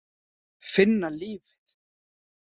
Finna lífið.